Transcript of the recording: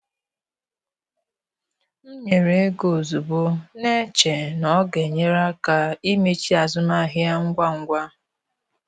M nyere ego ozugbo, na-eche na ọ ga-enyere aka imechi azụmahịa ngwa ngwa.